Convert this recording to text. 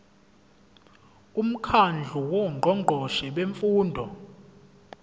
umkhandlu wongqongqoshe bemfundo